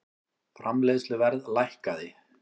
Framleiðsluverð lækkaði